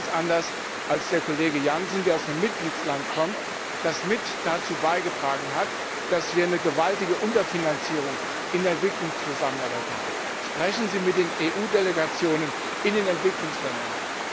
Ich sehe das ganz anders als der Kollege Jansen, der aus einem Mitgliedstaat kommt, der mit dazu beigetragen hat, dass wir eine gewaltige Unterfinanzierung in der Entwicklungszusammenarbeit haben. Sprechen Sie mit den EU Delegationen in den Entwicklungsländern.